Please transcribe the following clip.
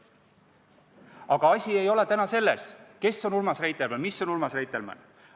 Aga asi ei ole täna selles, kes on Urmas Reitelmann või mis on Urmas Reitelmann.